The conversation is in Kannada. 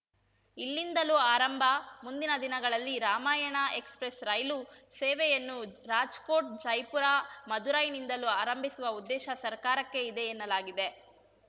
ಇಲ್ಲಿಂದಲೂ ಆರಂಭ ಮುಂದಿನ ದಿನಗಳಲ್ಲಿ ರಾಮಾಯಣ ಎಕ್ಸ್‌ಪ್ರೆಸ್‌ ರೈಲು ಸೇವೆಯನ್ನು ರಾಜ್‌ಕೋಟ್‌ ಜೈಪುರ ಮದುರೈನಿಂದಲೂ ಆರಂಭಿಸುವ ಉದ್ದೇಶ ಸರ್ಕಾರಕ್ಕೆ ಇದೆ ಎನ್ನಲಾಗಿದೆ